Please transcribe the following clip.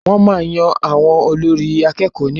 Wọ́n máa yan olórí àwọn akẹ́kọ̀ọ́ ní ọ̀la